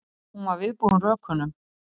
Hún var viðbúin rökunum.